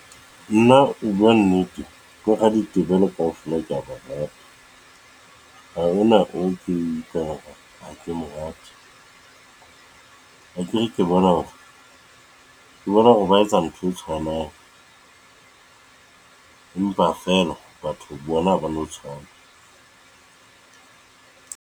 Nna ho buwa nnete, bo raditebele kaofela ke ya barata. Ha ho na akere ke bona hore ke bona hore ba etsa ntho e tshwanang, empa feela batho bona ha ba no tshwana.